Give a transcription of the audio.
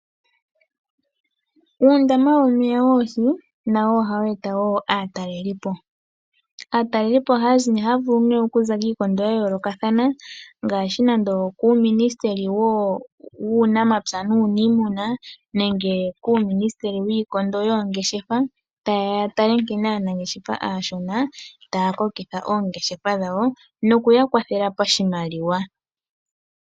Uundama womeya goohi nawo ohawu eta wo aatalelipo. Aatalelipo ohaya vulu okuza kiikondo ya yoolokathana ngaashi nando okUuminisiteli wUunamapya nUuniimuna nenge kUuminisiteli wIikondo yOongeshefa taye ya ya tale nkene aanangeshefa aashona taya kokitha oongeshefa dhawo nokuya kwathela pashimaliwa.